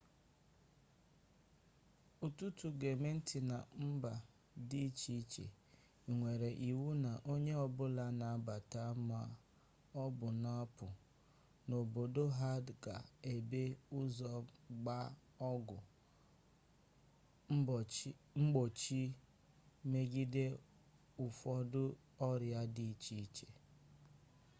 ọtụtụ gọọmenti na mba dị iche iche nwere iwu na onye ọbụla na-abata maọbụ na-apụ n'obodo ha ga-ebu ụzọ gbaa ọgwụ mgbochi megide ụfọdụ ọrịa dị iche iche